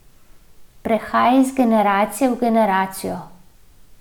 Prehaja iz generacije v generacijo.